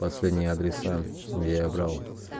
последние адреса я брал